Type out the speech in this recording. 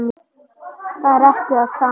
Það er ekki það sama.